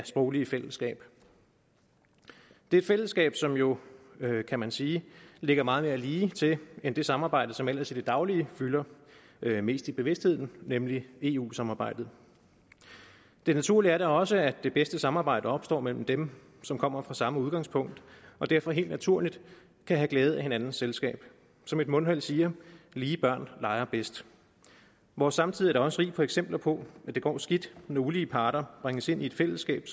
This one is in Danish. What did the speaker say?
sproglige fællesskab det fællesskab som jo kan man sige ligger meget mere ligetil end det samarbejde som ellers i det daglige fylder mest i bevidstheden nemlig eu samarbejdet det naturlige er da også at det bedste samarbejde opstår mellem dem som kommer fra samme udgangspunkt og derfor helt naturligt kan have glæde af hinandens selskab som et mundheld siger lige børn leger bedst vores samtid er da også rig på eksempler på at det går skidt når ulige parter bringes ind i et fællesskab